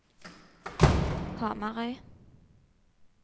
Hamarøy